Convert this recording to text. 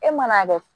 E mana kɛ